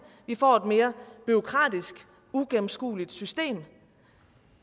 vi får et mere bureaukratisk og uigennemskueligt system